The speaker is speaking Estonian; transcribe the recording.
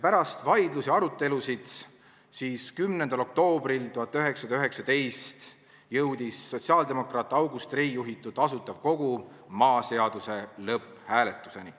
Pärast vaidlusi ja arutelusid jõudis 10. oktoobril 1919 sotsiaaldemokraat August Rei juhitud Asutav Kogu maaseaduse lõpphääletuseni.